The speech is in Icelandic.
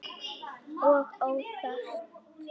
Og óþarft!